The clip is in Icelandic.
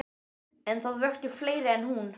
En það vöktu fleiri en hún.